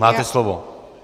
Máte slovo.